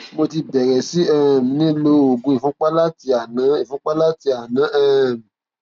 mo ti bẹrẹ sí um ní lo oògùn ìfúnpá láti àná ìfúnpá láti àná um